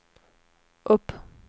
upp